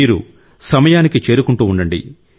మీరు సమయాన్ని చేరుకుంటూ ఉండండి